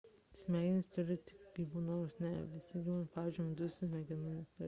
smegenis turi tik gyvūnai nors net ne visi gyvūnai pavyzdžiui medūzos smegenų neturi